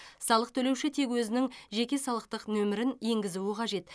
салық төлеуші тек өзінің жеке салықтық нөмірін енгізуі қажет